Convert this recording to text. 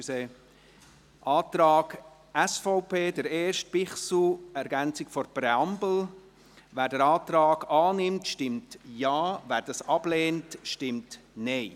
Zum Antrag SVP, Bichsel, Ergänzung zur Präambel: Wer den Antrag annimmt, stimmt Ja, wer dies ablehnt, stimmt Nein.